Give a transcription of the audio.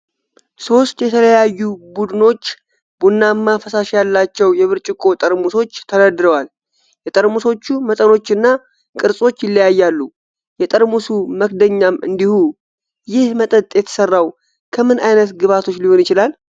ሦስት የተለያዩ ቡድኖች ቡናማ ፈሳሽ ያላቸው የብርጭቆ ጠርሙሶች ተደርድረዋል። የጠርሙሶቹ መጠኖችና ቅርፆች ይለያያሉ፤ የጠርሙሱ መክደኛም እንዲሁ። ይህ መጠጥ የተሰራው ከምን ዓይነት ግብዓቶች ሊሆን ይችላል?